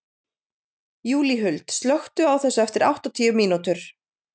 Júlíhuld, slökktu á þessu eftir áttatíu mínútur.